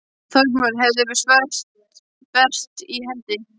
Þormóður hafði sverð bert í hendi.